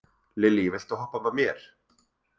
Lilý, viltu hoppa með mér?